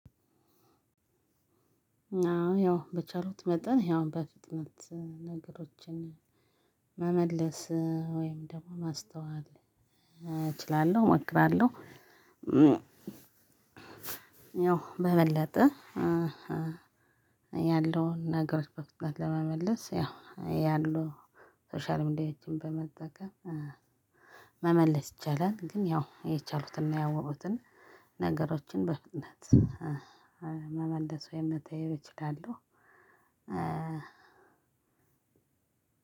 አዎ በቻልኩት መጠን ያው በፍጥነት ነገሮችን መመለስ ወይም ደግሞ ማስተዋል እችላለሁ እሞክራለሁ። ያው በበለጠ ያለውን ነገር በፍጥነት ለመመለስ ያው ያሉ ነገሮችን በመጠቀም መመለስ ይቻላል። ግን ያው የቻሉትን ያወሩትን ነገሮችን በፍጥነት መመለሱ መተየብ እችላለሁ።